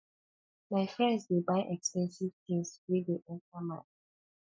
my friends dey buy expensive tins wey dey enta my eyes